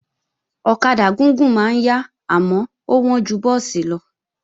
Ọ̀kadà gúgùn máa ń yá àmọ́ ó wọ́n ju búùsì lọ